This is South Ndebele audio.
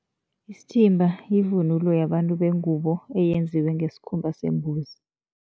Isithimba yivunulo yabantu bengubo, eyenziwe ngesikhumba sembuzi.